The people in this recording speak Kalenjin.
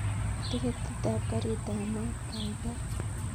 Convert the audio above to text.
Tiketit ap karit ap maat kaigai